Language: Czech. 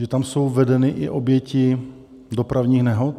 Že tam jsou vedeny i oběti dopravních nehod?